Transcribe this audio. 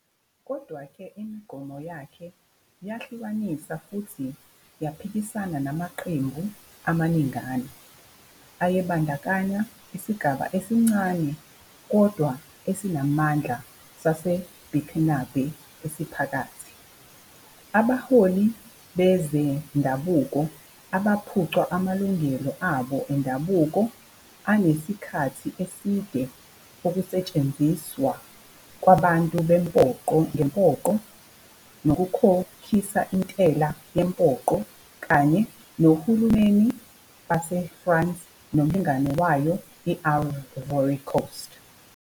Kodwa-ke, imigomo yakhe yahlukanisa futhi yaphikisana namaqembu amaningana, ayebandakanya isigaba esincane kodwa esinamandla saseBurkinabé esiphakathi, abaholi bezendabuko abaphucwa amalungelo abo endabuko asenesikhathi eside okusetshenziswa kwabantu ngempoqo nokukhokhisa intela yempoqo, kanye nohulumeni baseFrance nomlingani wayo i-Ivory Coast.